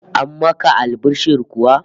An maka albishir kuwa?